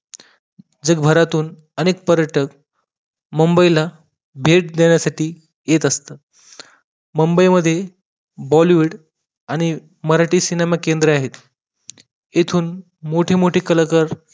जगभरातून अनेक पर्यटक मुंबईला भेट देण्यासाठी येत असतात मुंबई मध्ये Bollywood आणि मराठी सिनेमा केंद्रे आहेत इथून मोठे मोठे कलाकार